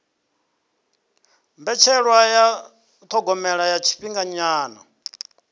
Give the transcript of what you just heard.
mbetshelwa ya thogomelo ya tshifhinganyana